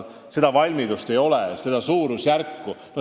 Seda valmidust ei ole, et seda suurusjärku saaks täna öelda.